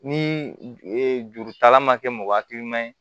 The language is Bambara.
Ni jurutala ma kɛ mɔgɔ hakilima ye